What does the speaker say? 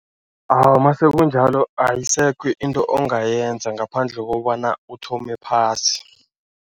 Awa, masekunjalo ayisekho into ongayenza ngaphandle kobana uthome phasi.